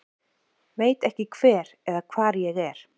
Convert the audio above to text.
Veit ekki hver eða hvað ég er